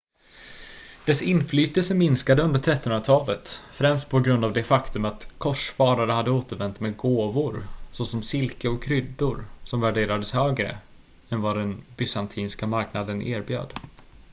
dess inflytelse minskade under 1300-talet främst på grund av det faktum att korsfarare hade återvänt med gåvor såsom silke och kryddor som värderades högre än vad den bysantinska marknader erbjöd